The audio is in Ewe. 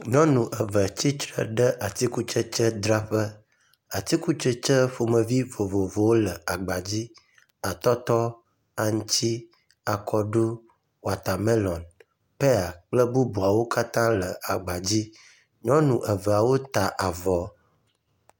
Nyɔnu eve tsitre ɖe atikutsetsedzraƒe. Atikutsetse ƒomevi vovovowo le agba dzi. Atɔtɔ, aŋtsi, akɔɖu, watamelɔn, peya kple bubuawo katã le agba dzi. Nyɔnu eveawo ta avɔ.